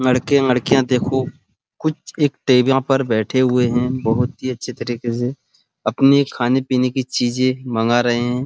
लड़के लड़कियां देखो कुछ एक टेबला पर बैठे हुए है बहुत ही अच्छे तरीके से अपने खाने पीने की चीजे मँगा रहे है।